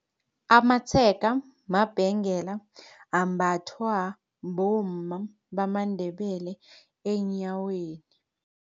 Amatshega mabhengela ambathwa bomma bamaNdebele eenyaweni.